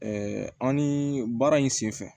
an ni baara in sen fɛ